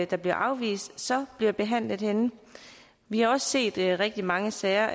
der bliver afvist så bliver behandlet henne vi har også set rigtig mange sager